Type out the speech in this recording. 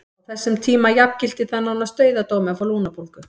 Á þessum tíma jafngilti það nánast dauðadómi að fá lungnabólgu.